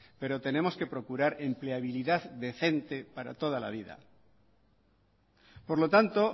pero tenemos que procurar empleabilidad decente para toda la vida por lo tanto